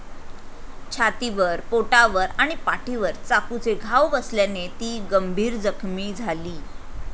छातीवर, पोटावर आणि पाठीवर चाकूचे घाव बसल्याने ती गंभीर जखमी झाली.